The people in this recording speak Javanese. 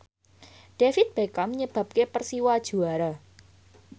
David Beckham nyebabke Persiwa juara